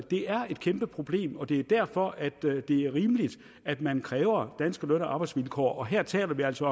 det er et kæmpe problem og det er derfor at det er rimeligt at man kræver danske løn og arbejdsvilkår og her taler vi altså